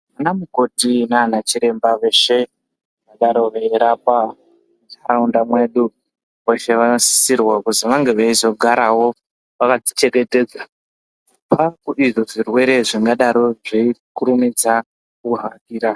Anamukoti naanachiremba veshe, vangadaro veirapa mundau mwedu ,veshe vanosisirwa kuzi vange veizogarawo vakadzichengetedza, kubva kuizvo zvirwere, zvingadaro zveikurumidza kuhakira.